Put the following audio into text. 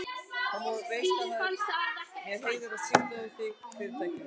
Þú veist að það er mér heiður að skipta við þig og Fyrirtækið.